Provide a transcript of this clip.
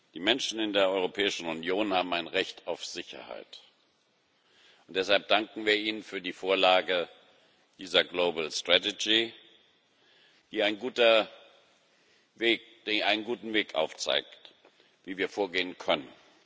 Die Menschen in der Europäischen Union haben ein Recht auf Sicherheit, und deshalb danken wir Ihnen für die Vorlage dieser globalen Strategie, die einen guten Weg aufzeigt, wie wir vorgehen können.